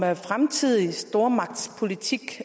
fremtidig stormagtspolitik